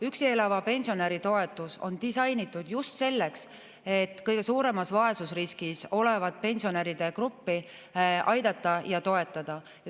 Üksi elava pensionäri toetus on disainitud just selleks, et kõige suuremas vaesusriskis olevat pensionäride gruppi aidata ja toetada.